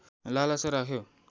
लालसा राख्यो